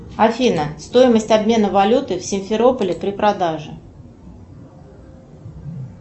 афина стоимость обмена валюты в симферополе при продаже